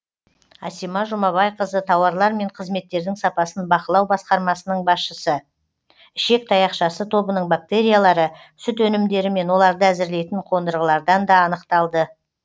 асима жұмабайқызы тауарлар мен қызметтердің сапасын бақылау басқармасының басшысы ішек таяқшасы тобының бактериялары сүт өнімдері мен оларды әзірлейтін қондырғылардан да анықталды